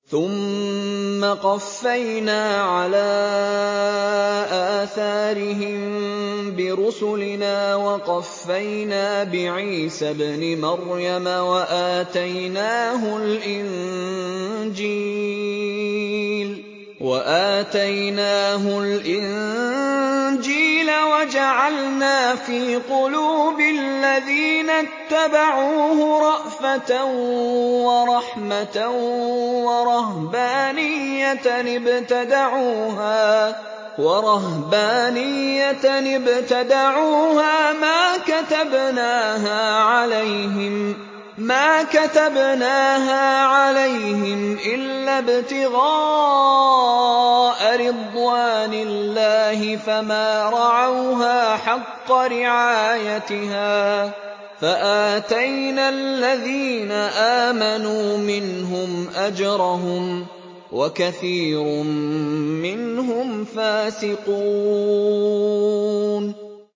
ثُمَّ قَفَّيْنَا عَلَىٰ آثَارِهِم بِرُسُلِنَا وَقَفَّيْنَا بِعِيسَى ابْنِ مَرْيَمَ وَآتَيْنَاهُ الْإِنجِيلَ وَجَعَلْنَا فِي قُلُوبِ الَّذِينَ اتَّبَعُوهُ رَأْفَةً وَرَحْمَةً وَرَهْبَانِيَّةً ابْتَدَعُوهَا مَا كَتَبْنَاهَا عَلَيْهِمْ إِلَّا ابْتِغَاءَ رِضْوَانِ اللَّهِ فَمَا رَعَوْهَا حَقَّ رِعَايَتِهَا ۖ فَآتَيْنَا الَّذِينَ آمَنُوا مِنْهُمْ أَجْرَهُمْ ۖ وَكَثِيرٌ مِّنْهُمْ فَاسِقُونَ